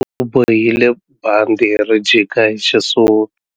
U bohile bandhi ri jika hi xisuti.